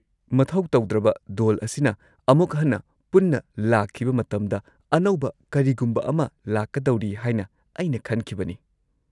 -ꯃꯊꯧ ꯇꯧꯗ꯭ꯔꯕ ꯗꯣꯜ ꯑꯁꯤꯅ ꯑꯃꯨꯛ ꯍꯟꯅ ꯄꯨꯟꯅ ꯂꯥꯛꯈꯤꯕ ꯃꯇꯝꯗ ꯑꯅꯧꯕ ꯀꯔꯤꯒꯨꯝꯕ ꯑꯃ ꯂꯥꯛꯀꯗꯧꯔꯤ ꯍꯥꯏꯅ ꯑꯩꯅ ꯈꯟꯈꯤꯕꯅꯤ꯫